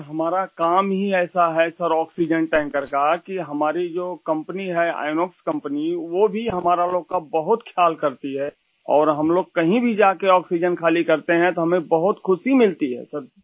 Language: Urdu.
سر ، ہمارا کام ہی ایسا ہے ، آکسیجن ٹینکر کی ، جو ہماری کمپنی ہے ، آئینوکس کمپنی ، وہ بھی ہم لوگوں کا بہت خیال رکھتی ہےاور اگر ہم کہیں بھی جاتے ہیں اور آکسیجن خالی کرتے ہیں تو ہمیں بہت خوش ملتی ہے